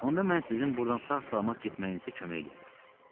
Onda mən sizin buradan sağ-salamat getməyinizə kömək eləyərəm.